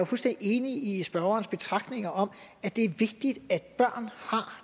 fuldstændig enig i spørgerens betragtninger om at det er vigtigt at børn har